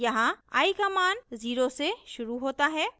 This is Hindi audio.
यहाँ i का मान 0 से शुरू होता है